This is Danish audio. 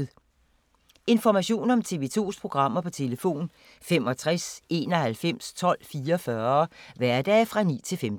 Information om TV 2's programmer: 65 91 12 44, hverdage 9-15.